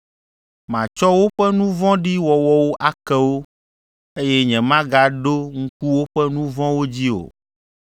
Matsɔ woƒe nu vɔ̃ɖi wɔwɔwo ake wo, eye nyemagaɖo ŋku woƒe nu vɔ̃wo dzi o.”